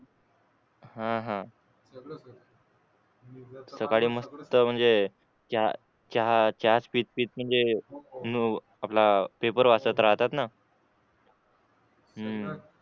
हा हा सकाळी मस्त म्हणजे चहा चहा पीत म्हणजे आपला पेपर वाचत राहतात ना हम्म